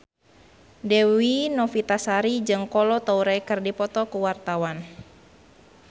Dewi Novitasari jeung Kolo Taure keur dipoto ku wartawan